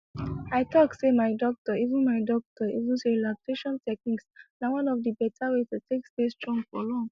i talk say my doctor even my doctor even say relaxation technique na one of the beta way to take stay strong for long